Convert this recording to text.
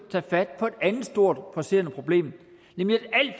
andet stort presserende problem nemlig